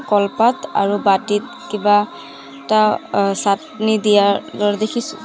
কলপাত আৰু বাটিত কিবা এটা চাটনি দিয়াৰ দৰে দেখিছোঁ।